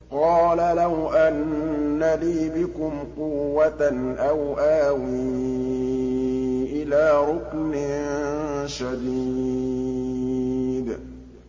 قَالَ لَوْ أَنَّ لِي بِكُمْ قُوَّةً أَوْ آوِي إِلَىٰ رُكْنٍ شَدِيدٍ